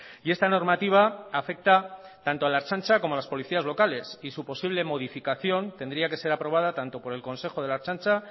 y esta normativa afecta tanto a la ertzaintza como a los policías locales y su posible modificación tendría que ser aprobada tanto por el consejo de la ertzaintza